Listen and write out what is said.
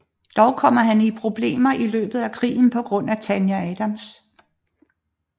Dog kommer han i problemer i løbet af krigen på grund af Tanya Adams